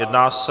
Jedná se...